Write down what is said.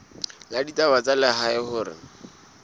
la ditaba tsa lehae hore